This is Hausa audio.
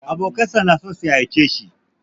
Abokansa na so su ha'ince shi.